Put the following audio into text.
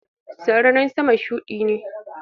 Sararin sama shudi ne.